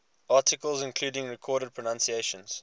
articles including recorded pronunciations